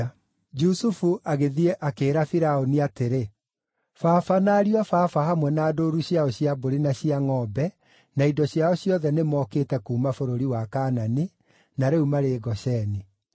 Jusufu agĩthiĩ akĩĩra Firaũni atĩrĩ, “Baba na ariũ a baba hamwe na ndũũru ciao cia mbũri na cia ngʼombe na indo ciao ciothe nĩmokĩte kuuma bũrũri wa Kaanani, na rĩu marĩ Gosheni.”